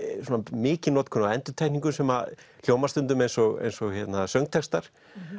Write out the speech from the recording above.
mikil notkun á endurtekningum sem hljómar stundum eins og eins og söngtextar